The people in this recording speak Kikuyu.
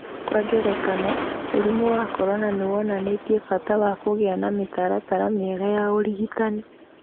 Kwa ngerekano, mũrimũ wa corona nĩ wonanĩtie bata wa kũgĩa na mĩtaratara mĩega ya ũrigitani.